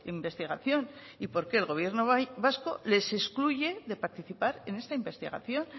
investigación y por qué el gobierno vasco les excluye de participar en esta investigación